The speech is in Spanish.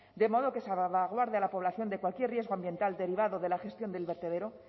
de modo que salvaguarde a la población de cualquier riesgo ambiental derivado de la gestión del vertedero